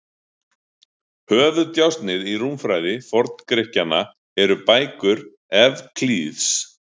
Höfuðdjásnið í rúmfræði Forngrikkjanna eru bækur Evklíðs.